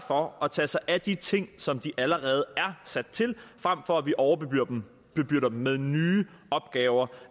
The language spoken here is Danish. for at tage sig af de ting som de allerede er sat til frem for at vi overbebyrder dem med nye opgaver